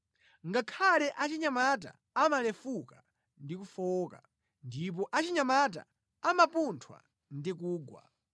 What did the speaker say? Ngakhale achinyamata amalefuka ndi kufowoka, ndipo achinyamata amapunthwa ndi kugwa;